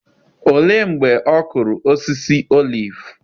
Olee mgbe ọ kụrụ osisi oliv?